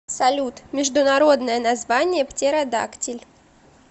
салют международное название птеродактиль